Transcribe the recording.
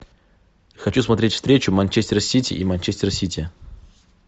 хочу смотреть встречу манчестер сити и манчестер сити